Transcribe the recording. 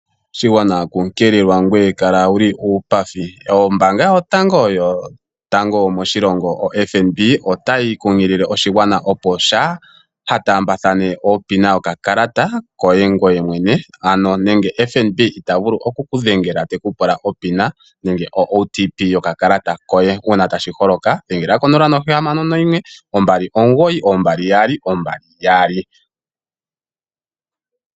Oshigwana kunkililwa, ngoye kala wuli uupathi. Ombaanga yotango moshilongo oFNB otayi kunkilile oshigwana opo shaa ha taambathane opina yokakalata koye ngoye mwene. Ano nenge FNB ita vulu oku ku dhengela ta pula opina nenge o OTP yokakalata koye. Uuna tashi holoka dhengela ko 0612992222.